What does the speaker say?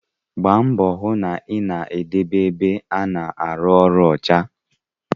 Gbara mbọ hụ na ị na-edobe ebe a na-arụ ọrụ ọcha